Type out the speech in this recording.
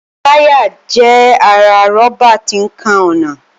Táyà jẹ́ ara rọ́bà tí ń kan ọ̀nà